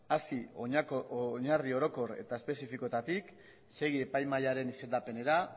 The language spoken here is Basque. hasiera oinarri orokor eta espezifikoetatik segi epaimahairen izendapenera